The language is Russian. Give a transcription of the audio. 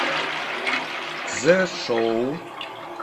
цзешоу